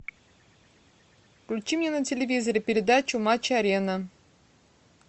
включи мне на телевизоре передачу матч арена